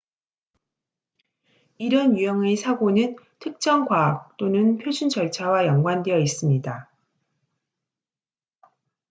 이런 유형의 사고는 특정 과학 또는 표준 절차와 연관되어 있습니다